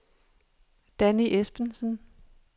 Danny Esbensen